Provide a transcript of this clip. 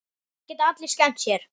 Það geta allir skemmt sér.